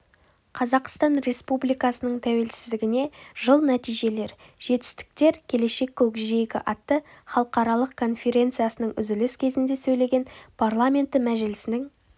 қазақстан республикасының тәуелсіздігіне жыл нәтижелер жетістіктер келешек көкжиегі атты халықаралық конференциясының үзіліс кезінде сөйлеген парламенті мәжілісінің